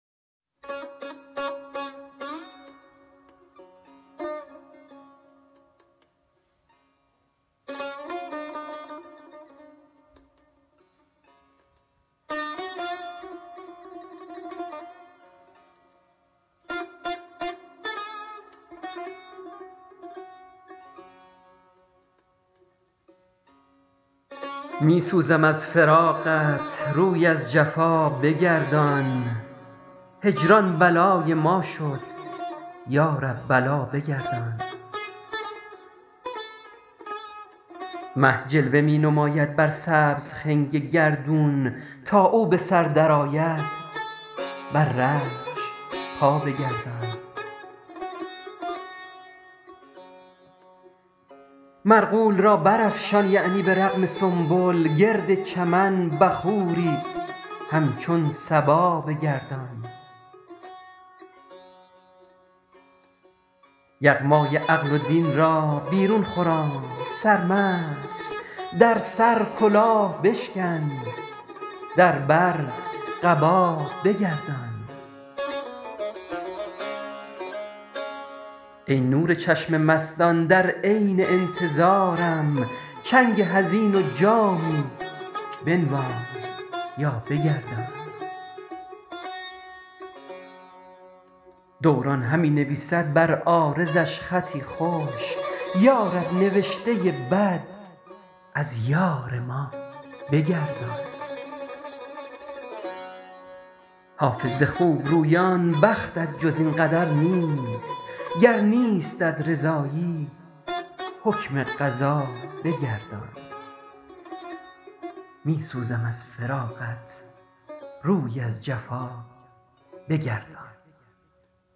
می سوزم از فراقت روی از جفا بگردان هجران بلای ما شد یا رب بلا بگردان مه جلوه می نماید بر سبز خنگ گردون تا او به سر درآید بر رخش پا بگردان مرغول را برافشان یعنی به رغم سنبل گرد چمن بخوری همچون صبا بگردان یغمای عقل و دین را بیرون خرام سرمست در سر کلاه بشکن در بر قبا بگردان ای نور چشم مستان در عین انتظارم چنگ حزین و جامی بنواز یا بگردان دوران همی نویسد بر عارضش خطی خوش یا رب نوشته بد از یار ما بگردان حافظ ز خوبرویان بختت جز این قدر نیست گر نیستت رضایی حکم قضا بگردان